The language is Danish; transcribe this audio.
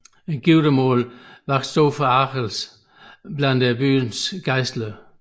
Giftermålet vakte stor forargelse blandt byens gejstlighed